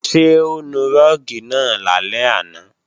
Ṣé o nu rúùgì náà lálẹ́ àná?